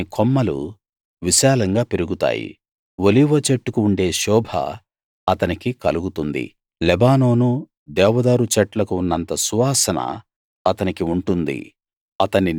అతని కొమ్మలు విశాలంగా పెరుగుతాయి ఒలీవచెట్టు కు ఉండే శోభ అతనికి కలుగుతుంది లెబానోను దేవదారు చెట్లకు ఉన్నంత సువాసన అతనికి ఉంటుంది